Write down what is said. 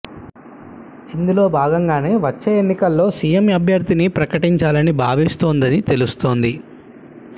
ఇందులో భాగంగానే వచ్చే ఎన్నికల్లో సీఎం అభ్యర్థిని ప్రకటించాలని భావిస్తోందని తెలుస్తోంది